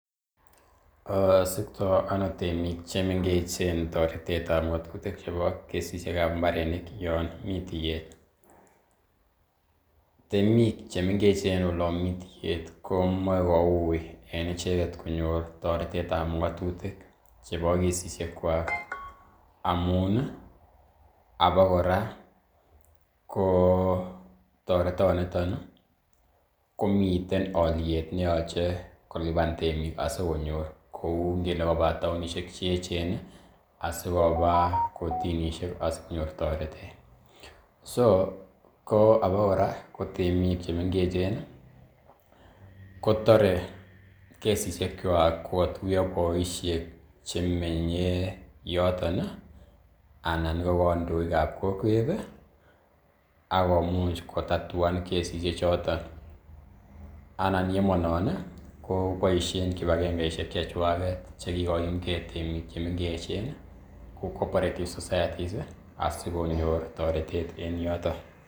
Sikto on temik chemengech toretetab ng'otutik chebo kesisiekab mbarenik yon mi tiyet? Temik che mengechen olon mi tiyet komoe ko uiy en icheget konyor toretetab ng'atutik chebo kesishekwak amun i abakora ko toretonito komiten olyet ne yoche kolipan temik asikonyor kou ngele koba taonishek che eechen asikoba kortinishek asikonyor toretet. So ko abakora ko temik che mengechen ko tore kesishekwak kogotuiyoboisiek chemenye yoton i anan ko kandoik ab kokwet agomuch kotatuan kesishek choton anan ye monon koboisien kipagengeshek chechwaget che kigoyumnge temik che mengechen kou cooperative societies asikonor toretet en yoton.